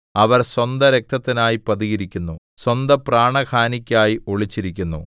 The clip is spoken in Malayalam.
അവർ സ്വന്ത രക്തത്തിനായി പതിയിരിക്കുന്നു സ്വന്തപ്രാണഹാനിക്കായി ഒളിച്ചിരിക്കുന്നു